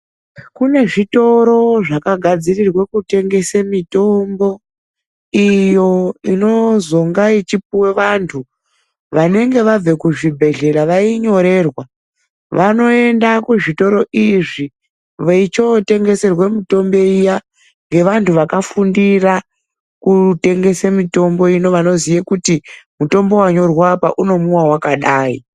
Kune zvitoro zvakagadzirirwa kutengesa mitombo iyo inozonga ichipuhwe vantu vanenge vabva kuzvibhedhlera vainyorerwa. Vanoenda kuzvitoro izvi veichotengeserwa mitombo iya ngevanhu vakafundira kutengesa mitombo ino vanoziya kuti mutombo wanyorwa apa unomwiwa wakadai.